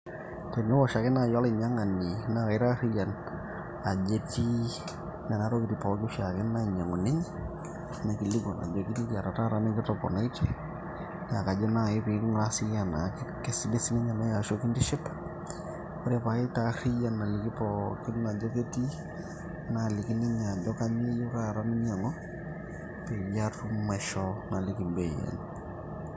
tenewosh ake naaji olainyiang'ani naa kaitarriyian ajo etii nena tokitin pooki oshiake nainyiang'u ninye naikilikuan ajoki nikiata taata nikitoponaitie neekajo nai ping'uraa siiyie enaa kesidai sininye naji ashu kintiship ore paitarriyian aliki pookin ajo ketii naliki ninye ajo kanyio eyieu taata ninyiang'u peyie atum aishoo naliki embei enye.